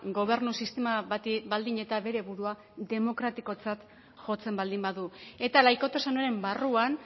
gobernu sistema bati baldin eta bere burua demokratikotzat jotzen baldin badu eta laikotasunaren barruan